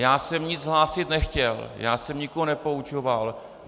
Já jsem nic hlásit nechtěl, já jsem nikoho nepoučoval.